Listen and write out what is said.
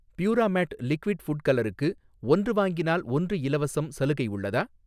பியூராமேட் liquid food கலருக்கு, 'ஒன்று வாங்கினால் ஒன்று இலவசம்' சலுகை உள்ளதா?